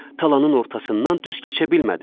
Talanın ortasından düz keçə bilmədi.